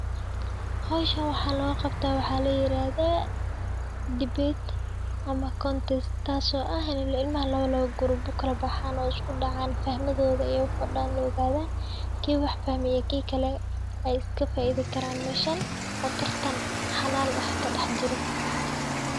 Howshan waxaa loo qabto waxaa la yiraahda debate ama contest taas oo ah in ilmaha laba grub ukala baxaan oo isku dacaan fahmadooda aya la ogaanaya, kii wax fahme iyo kii kale ay iska faidi karaan oo tartan xalaal ah kadex jiro.